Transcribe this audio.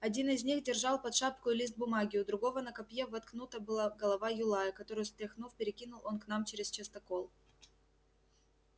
один из них держал под шапкою лист бумаги у другого на копье воткнута была голова юлая которую стряхнув перекинул он к нам чрез частокол